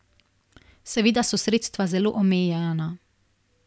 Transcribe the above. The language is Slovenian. Seveda so sredstva zelo omejena.